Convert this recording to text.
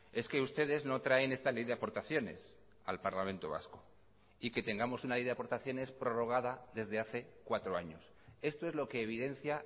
es que ustedes no traen esta ley de aportaciones al parlamento vasco y que tengamos una ley de aportaciones prorrogada desde hace cuatro años esto es lo que evidencia